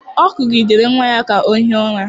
Ọ kụgidere nwa ya ka ọ hie ụra.